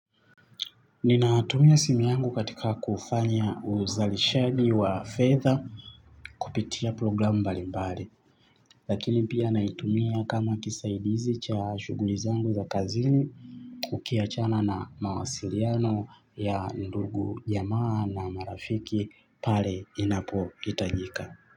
Ninatumia simu yangu katika kufanya uzalishaji wa fedha kupitia programu mbalimbali, lakini pia naitumia kama kisaidizi cha shughuli zangu za kazini ukiachana na mawasiliano ya ndugu jamaa na marafiki pale inapo hitajika.